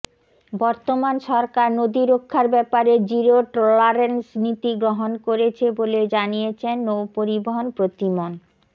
বর্তমান সরকার নদী রক্ষার ব্যাপারে জিরো ট্রলারেন্স নীতি গ্রহণ করেছে বলে জানিয়েছেন নৌপরিবহন প্রতিমন